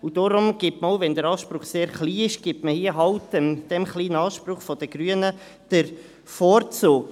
Deshalb gibt man, auch wenn der Anspruch sehr klein ist, dem kleinen Anspruch der Grünen den Vorzug.